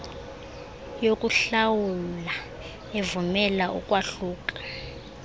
yokuhlawula evumela ukwahluka